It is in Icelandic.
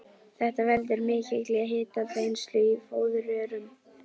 Þetta veldur mikilli hitaþenslu í fóðurrörum.